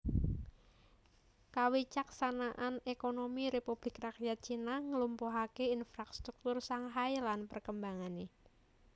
Kawicaksanan ékonomi Républik Rakyat Cina nglumpuhaké infrastruktur Shanghai lan perkembangané